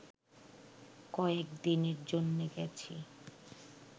কয়েকদিনের জন্যে গেছি